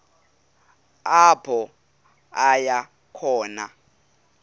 apho aya khona